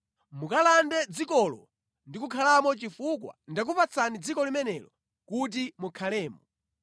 Mukalande dzikolo ndi kukhalamo chifukwa ndakupatsani dziko limenelo kuti mukhalemo.